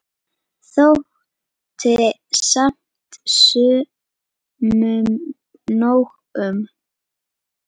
Þótti samt sumum nóg um.